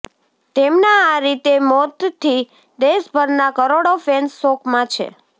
તેમના આ રીતે મોતથી દેશભરના કરોડો ફેન્સ શોકમાં છે